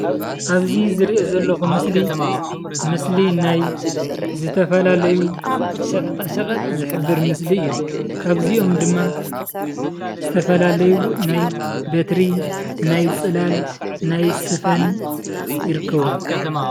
ኣብዚ ዝርእዮ ዘለኩ ምስሊ ምስሊ ናይ ዝተፈላለዩ ሸቀጣሸቀጥ ዝሕበር ምስሊ እዩ። ካብ እዚኦም ድማ ዝተፈላለዩ ናይ በትሪ፣ ናይ ፅላል፣ ናይ ስፈን ይርከብዎ።